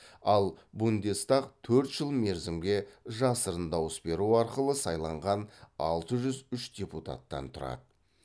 ал бундестаг төрт жыл мерзімге жасырын дауыс беру арқылы сайланған алты жүз үш депутаттан тұрады